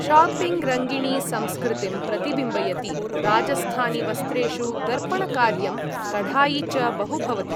शॉपिङ्गं रङ्गिणी संस्कृतिं प्रतिबिम्बयति, राजस्थानीवस्त्रेषु दर्पणकार्यं, कढ़ाई च बहु भवति।